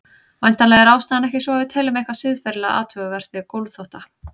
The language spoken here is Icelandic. Væntanlega er ástæðan ekki sú að við teljum eitthvað siðferðilega athugavert við gólfþvotta.